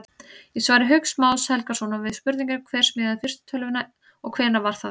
Í svari Hauks Más Helgasonar við spurningunni Hver smíðaði fyrstu tölvuna og hvenær var það?